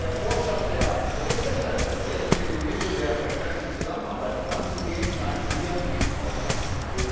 Der Vorschlag der Berichterstatterin, jetzt mit dem Mittel der verstärkten Zusammenarbeit voranzugehen, scheint mir nicht ausreichend.